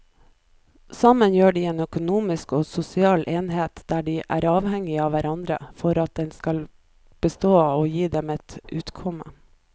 Sammen utgjør de en økonomisk og sosial enhet og de er avhengige av hverandre for at den skal bestå og gi dem et utkomme.